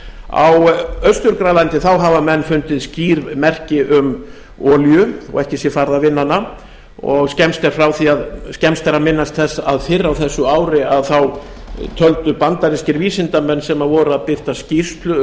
á austur grænlandi hafa menn fundið skýr merki um olíu þó ekki sé farið að vinna hana og skemmst er að minnast þess að fyrr á þessu ári töldu bandarískir vísindamenn sem voru að birta skýrslu